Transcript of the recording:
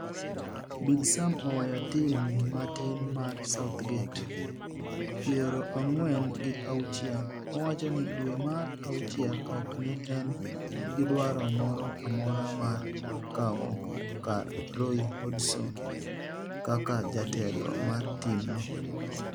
Big Sam oweyo tim matin mar Southgate, piero ang'wen gi auchiel, owacho ni dwe mar auchiel ok ne en gi dwaro moro amora mar kawo kar Roy Hodgson kaka jatelo mar tim no